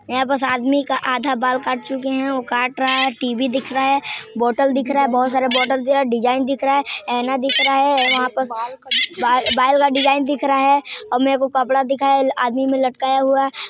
यहाँ बस आदमी का आधा बाल काट चुके है ओ काट रा है टी वी दिख रा है बोतल दिख रा है बहोत सारे बोटल ट डीसाइन दिख रा है आईना दिख रा है वहा पर बाल-- बाल का डीसाइन दिख रहा है और मेको कपड़ा दिख ए आदमी मे लटकाया हुआ।